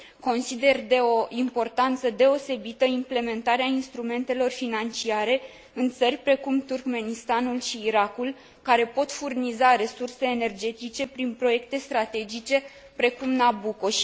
Consider de o importanță deosebită implementarea instrumentelor financiare în țări precum Turkmenistanul și Irakul, care pot furniza resurse energetice prin proiecte strategice, precum Nabucco.